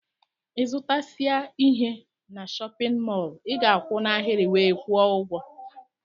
Ịzụtasia ihe n'shóppin mol i ga-akwu n'ahiri wee kwuo ụgwọ.